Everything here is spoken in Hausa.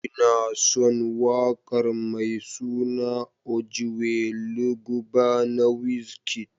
Ina son waƙar mai suna: Ojuelegba na Wizkid.